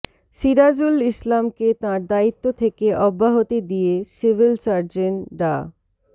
সিরাজুল ইসলামকে তাঁর দায়িত্ব থেকে অব্যাহতি দিয়ে সিভিল সার্জন ডা